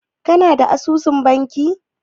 Ka na da asusun banki?